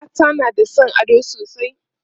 mata na da San ado sosai